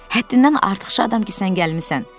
Həddindən artıq şadam ki, sən gəlmisən.